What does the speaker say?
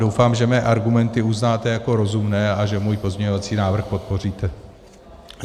Doufám, že mé argumenty uznáte jako rozumné a že můj pozměňovací návrh podpoříte.